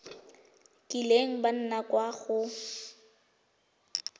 kileng ba nna kwa go